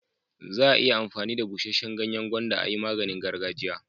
Za'a iya amfani da busheshen ganyen gwanda a'yi maganin gargajiya.